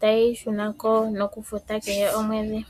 ta yeyi shunako nokufuta kehe omwedhi.